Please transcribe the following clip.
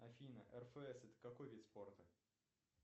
афина рфс это какой вид спорта